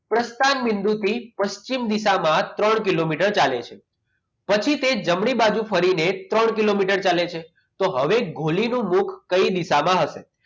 પ્રસ્થાન બિંદુ થી પશ્ચિમ દિશામાં ત્રણ કિલોમીટર ચાલે છે પછી તે જમણી બાજુ ફરીને ત્રણ કિલોમીટર ચાલે છે તો હવે ગોલીનું મુખ કઈ દિશામાં હશે